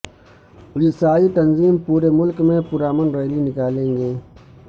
عیسائی تنظیم پورے ملک میں پر امن ریلی نکالیں گے